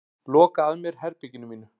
Loka að mér herberginu mínu.